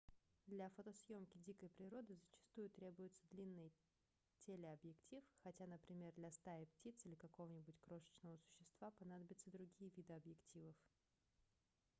для фотосъёмки дикой природы зачастую требуется длинный телеобъектив хотя например для стаи птиц или какого-нибудь крошечного существа понадобятся другие виды объективов